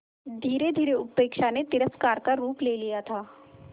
धीरेधीरे उपेक्षा ने तिरस्कार का रूप ले लिया था